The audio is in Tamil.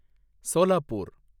சோலாப்பூர்